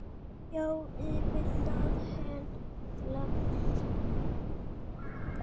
Já, yfir það heila.